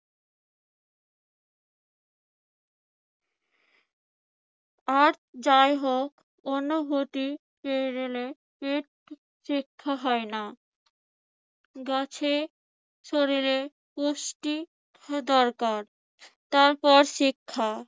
আর যাই হোক অনুভূতি পেয়ে গেলে শিক্ষা হয় না। গাছের শরীরে পুষ্টি দরকার তারপর শিক্ষা